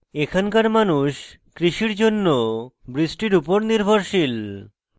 এখানকার মানুষ কৃষির জন্য বৃষ্টির উপর নির্ভরশীল